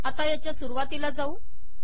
आता याच्या सुरुवातीला जाऊ